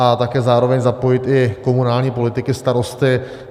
A také zároveň zapojit i komunální politiky, starosty.